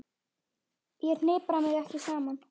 Ég hnipra mig ekki saman.